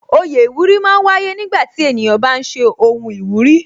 Oyè iwuri máa ń wáyé nígbà tí ènìyàn bá ṣe ohun ìwúrí